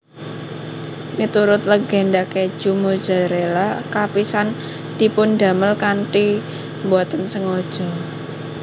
Miturut legenda kèju Mozzarella kapisan dipundamel kanthi boten sengaja